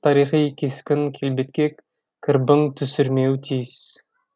тарихи кескін келбетке кірбің түсірмеуі тиіс